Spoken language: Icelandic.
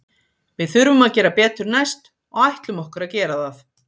Við þurfum að gera betur næst og ætlum okkur að gera það.